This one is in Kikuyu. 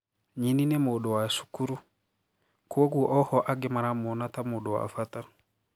Nyini ni mũndũ wa cukurû, kwoguo ohwo angi maramuona taa mundu wa bata.